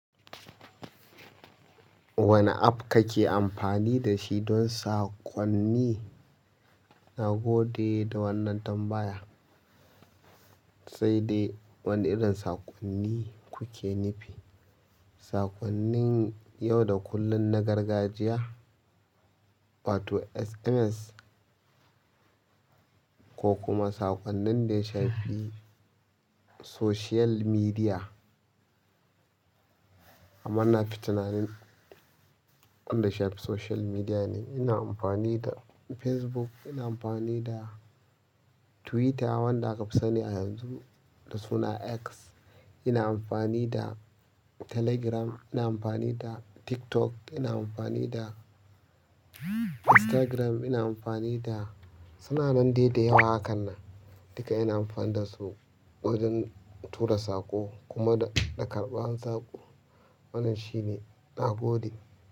Wane app kake amfani da shi don saƙonni? Na gode da wannan tambaya. Sai dai wane irin saƙonni kuke nufi? Saƙonnin yau da kullun na gargajiya, wato SMS, ko kuma saƙonnin da ya shafi social media? Amma na fi tunanin wanda ya shafi social media ne. Ina amfani da Facebook, ina amfani da Twitter wanda akafi sani a yanzu da suna X, ina amfani da Telegram, ina amfani da TikTok, ina amfani da Instagram, ina amfani da. Suna nan daidai da yawa a hakannan. Duka ina amfani da su wajen tura saƙo kuma da karɓar saƙo. Wannan shine. Na gode.